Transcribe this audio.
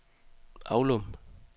Aulum